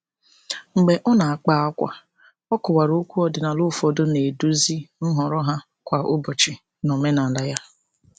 Mgbe ọ na-akpa ákwà, ọ kọwara okwu ọdịnala ụfọdụ na-eduzi nhọrọ ha kwa ụbọchị n'omenala ya.